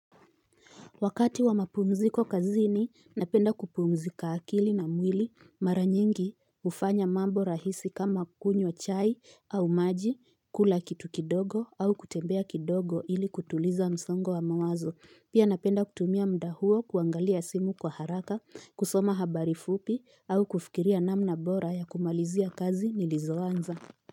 Wakati wa mapumziko kazini, napenda kupumzika akili na mwili mara nyingi hufanya mambo rahisi kama kunywa chai au maji, kula kitu kidogo au kutembea kidogo ili kutuliza msongo wa mawazo. Pia napenda kutumia muda huo kuangalia simu kwa haraka, kusoma habari fupi au kufikiria namna bora ya kumalizia kazi nilizoanza.